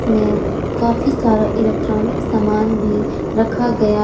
में काफी सारे इलेक्ट्रॉनिक सामान भी रखा गया।